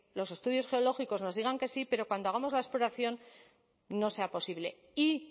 los estudios geológicos nos digan que sí pero cuando hagamos la exploración no sea posible y